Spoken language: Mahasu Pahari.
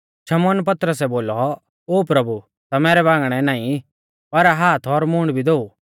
शमौन पतरसै बोलौ ओ प्रभु ता मैरै बांगणै नाईं पर हाथ और मूंड़ भी धोऊ